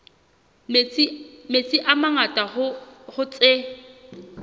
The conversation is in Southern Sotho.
metsi a mangata hoo tse